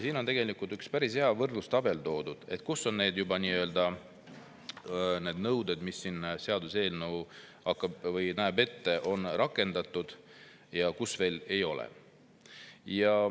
Siin on toodud üks päris hea võrdlustabel selle kohta, on neid nõudeid, mida see seaduseelnõu ette näeb, juba rakendatud ja millistes veel ei ole.